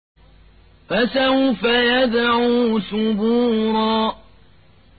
فَسَوْفَ يَدْعُو ثُبُورًا